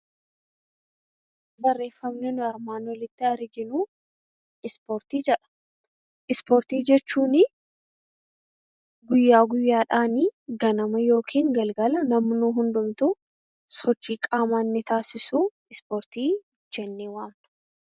Barreeffamni nuti armaan oliitti arginu 'Ispoortii ' jedha. Ispoortii jechuun guyyaa guyyaadhaan ganama yookiin galgala namni hundumtuu sochii qaamaa inni taasisu Ispoortii jennee waamna.